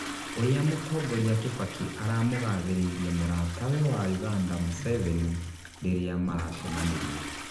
ũria mũtongoria Kibaki aramũgathĩrĩirie mũratawe wa Uganda Museveni ririamaracemanirie